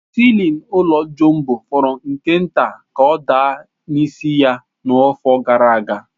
Siilin ụlọ Jumbo fọrọ nke nta ka ọ daa n'isi ya n'afọ gara aga.